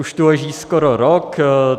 Už tu leží skoro rok.